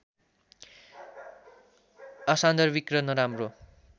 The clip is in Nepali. असान्दर्भिक र नराम्रो